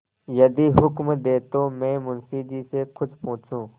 यदि हुक्म दें तो मैं मुंशी जी से कुछ पूछूँ